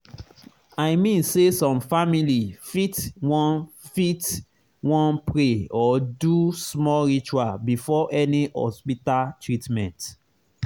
i mean say some family fit wan fit wan pray or do small ritual before any hospita treatment